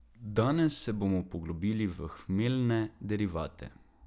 Danes se bomo poglobili v hmeljne derivate.